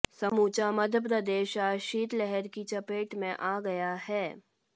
समूचा मध्यप्रदेश आज शीतलहर की चपेट में आ गया है